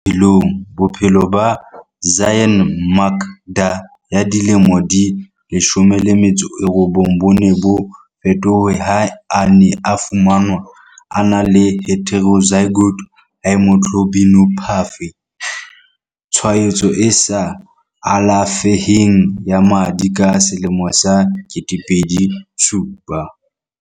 Monyetla wa bobedi bophelongBophelo ba Zyaan Makda ya dilemo di 19 bo ne bo fetohe ha a ne a fumanwa a na le heterozygote haemoglobinopathy, tshwaetso e sa alafeheng ya madi ka selemo sa 2007.